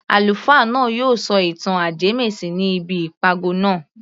Àlùfáà náà yóò sọ ìtàn ajẹmẹ́sìn ní ibi ìpàgọ́ naa